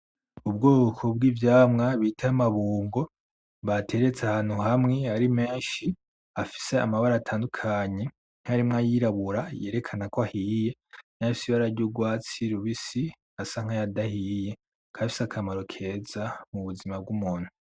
Ubwoko bw'ivyamwa bita amabungo bateretse ahantu hamwe ari menshi afise amabara atandukanye harimwo ayirabura yerekana ko ahiye n'ayafise ibara ry'urwatsi rubisi asa nk'ayadahiye, akaba afise akamaro keza mubuzima bw'umuntu.